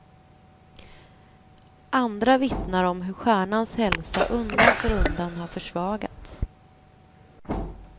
Andra vittnar om hur stjärnans hälsa undan för undan har försvagats.